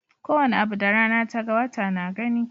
Kowane abu da rana ta ga, wata na gani.